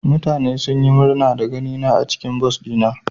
Mutane sun yi murna da ganina a cikin bas dina.